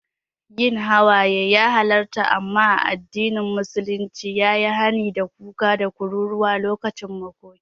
Yin hawaye ya halarta, amma addinin musulunci ya yi hani da kuka da kururuwa lokacin makoki.